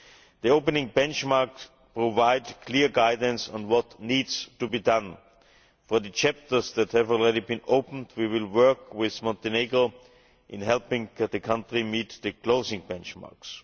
The opening benchmarks provide clear guidance on what needs to be done. For the chapters that have already been opened, we will work with Montenegro in helping the country meet the closing benchmarks.